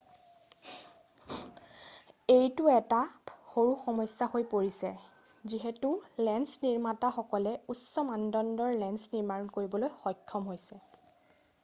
এইটো এটা সৰু সমস্যা হৈ পৰিছে যিহেতু লেন্স নিৰ্মাতা সকলে উচ্চ মানদণ্ডৰ লেন্স নিৰ্মাণ কৰিবলৈ সক্ষম হৈছে